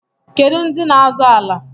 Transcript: Kedụ ndị n'azọ ala?